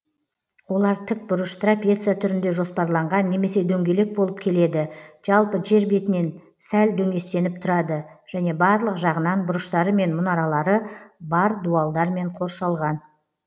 олар тік бұрыш трапеция түрінде жоспарланған немесе дөңгелек болып келеді жалпы жер бетінен сәл дөңестеніп тұрады және барлық жағынан бұрыштары мен мұнаралары бар дуалдармен қоршалған